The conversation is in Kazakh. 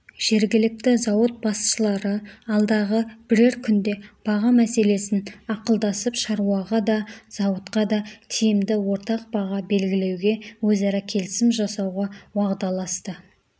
жергілікті зауыт басшылары алдағы бірер күнде баға мәселесін ақылдасып шаруаға да зауытқа да тиімді ортақ баға белгілеуге өзара келісім жасауға уағдаласты